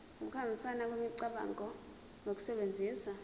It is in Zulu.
ukuhambisana kwemicabango ngokusebenzisa